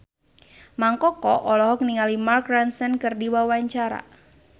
Mang Koko olohok ningali Mark Ronson keur diwawancara